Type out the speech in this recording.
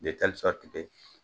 De tɛli sɔriti ke